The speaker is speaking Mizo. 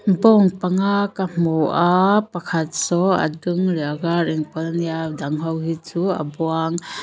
bawng panga ka hmu a pakhat saw a dum leh a var inpawlh a ni a a dang ho hi chu a buang.